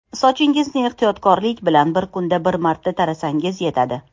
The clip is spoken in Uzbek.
Sochingizni ehtiyotlik bilan, bir kunda bir marta tarasangiz yetadi.